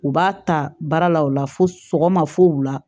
U b'a ta baara la o la fo sogoma fo wula